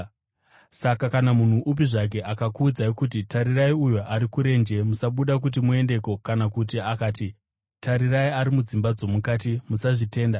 “Saka kana munhu upi zvake akakuudzai kuti, ‘Tarirai uyo ari kurenje,’ musabuda kuti muendeko kana kuti akati, ‘Tarirai, ari mudzimba dzomukati,’ musazvitenda.